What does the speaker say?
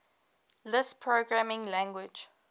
lisp programming language